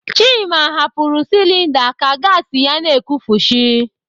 Chima hapụrụ silinda ka gasi ya na-ekufushi.